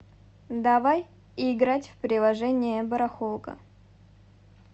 давай играть в приложение барахолка